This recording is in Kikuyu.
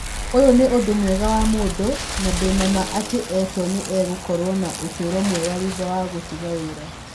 Ũyũ nĩ ũndũ mwega wa mũndũ, na ndĩ na ma atĩ Eto'o nĩ egũkorũo na ũtũũro mwega thutha wa gũtiga wĩra.'